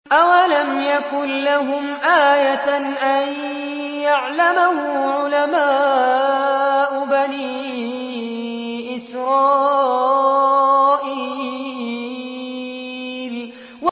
أَوَلَمْ يَكُن لَّهُمْ آيَةً أَن يَعْلَمَهُ عُلَمَاءُ بَنِي إِسْرَائِيلَ